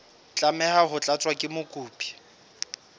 tlameha ho tlatswa ke mokopi